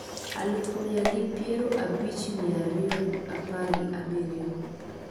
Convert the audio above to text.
Aluf mia gi piero abich mia ariyo gi apar gi abiriyo